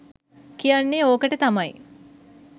කියන්නේ ඕකට තමයි.